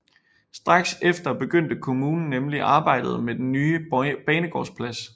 Straks efter begyndte kommunen nemlig arbejdet med den nye banegårdsplads